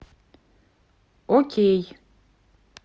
окей